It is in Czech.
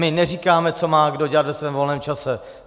My neříkáme, co má kdo dělat ve svém volném čase.